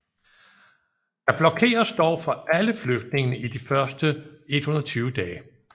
Der blokeres dog for alle flygtninge i de første 120 dage